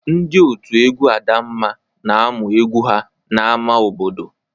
Ndị òtù egwu Adamma na-amụ egwu ha n'ámá obodo.